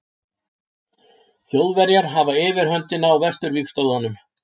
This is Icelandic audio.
Þjóðverjar hafa yfirhöndina á vesturvígstöðvum.